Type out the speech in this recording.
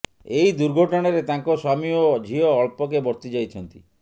ଏହି ଦୁର୍ଘଟଣାରେ ତାଙ୍କ ସ୍ୱାମୀ ଓ ଝିଅ ଅଳ୍ପକେ ବର୍ତ୍ତି ଯାଇଛନ୍ତି